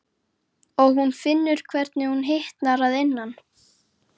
Og hún finnur hvernig hún hitnar að innan.